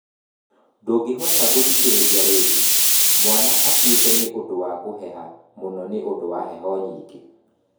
Ndũngĩhota gũthikĩrĩria ringi, mwana akuĩte nĩ ũndũ wa kuheha mũno nĩ ũndũ wa heho nyingĩ.